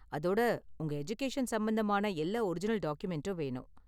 அதோட, உங்க எஜுகேஷன் சம்பந்தமான எல்லா ஒரிஜினல் டாக்குமெண்டும் வேணும்.